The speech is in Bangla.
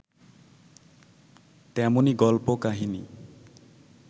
তেমনি গল্প কাহিনী